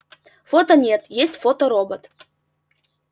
фото нет есть фоторобот